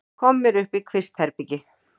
Koma mér upp í kvistherbergi.